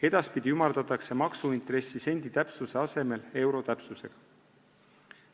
Edaspidi ümardatakse maksuintressi sendi täpsuse asemel euro täpsusega.